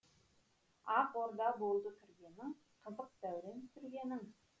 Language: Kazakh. ақ орда болды кіргенің қызық дәурен сүргенің